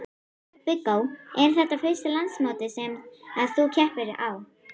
Viggó: Er þetta fyrsta landsmótið sem að þú keppir á?